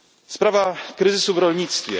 Sprawa kryzysu w rolnictwie.